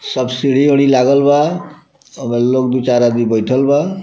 सब सीढ़ी उढी लागल बा वही लोग दू चार आदमी बइठल बा।